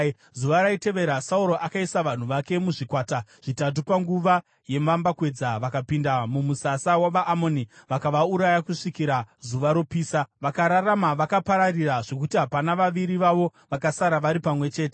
Zuva raitevera, Sauro akaisa vanhu vake muzvikwata zvitatu; panguva yemambakwedza vakapinda mumusasa wavaAmoni vakavauraya kusvikira zuva ropisa. Vakararama vakapararira, zvokuti hapana vaviri vavo vakasara vari pamwe chete.